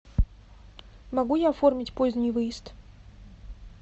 могу я оформить поздний выезд